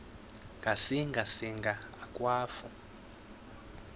ngasinga singa akwafu